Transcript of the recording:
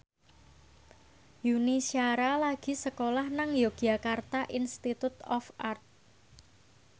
Yuni Shara lagi sekolah nang Yogyakarta Institute of Art